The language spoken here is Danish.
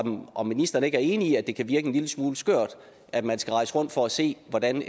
om ministeren ikke er enig i at det kan virke en lille smule skørt at man skal rejse rundt for at se hvordan